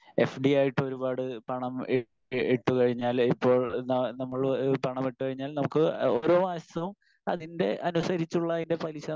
speaker 1 FD ആയിട്ട് ഒരുപാട് പണം ഇ ഇട്ടുകഴിഞ്ഞാല് ഇപ്പോൾ ന നമ്മള് പണം ഇട്ടു കഴിഞ്ഞാൽ നമുക്ക് ഓരോ മാസവും അതിൻറെ അനുസരിച്ചുള്ള അതിൻറെ പലിശ